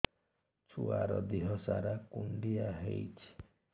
ଛୁଆର୍ ଦିହ ସାରା କୁଣ୍ଡିଆ ହେଇଚି